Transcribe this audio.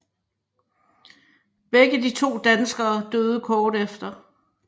Begge de to danskere døde kort efter